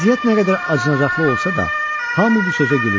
Vəziyyət nə qədər acınacaqlı olsa da, hamı bu sözə gülüşdü.